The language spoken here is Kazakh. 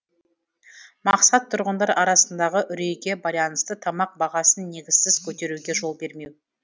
мақсат тұрғындар арасындағы үрейге байланысты тамақ бағасын негізсіз көтеруге жол бермеу